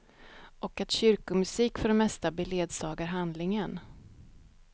Och att kyrkomusik för det mesta beledsagar handlingen.